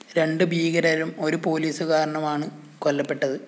രണ്ട് ഭീകരരും ഒരു പോലീസുകാരനുമാണ് കൊല്ലപ്പെട്ടത്